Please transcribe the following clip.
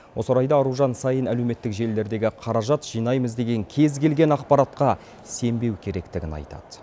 осы орайда аружан саин әлеуметтік желілердегі қаражат жинаймыз деген кез келген ақпаратқа сенбеу керектігін айтады